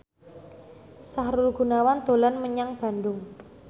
Sahrul Gunawan dolan menyang Bandung